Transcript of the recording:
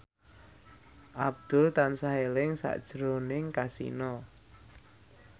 Abdul tansah eling sakjroning Kasino